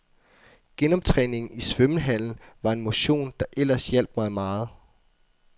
Genoptræningen i svømmehallen var en motion der ellers hjalp mig meget.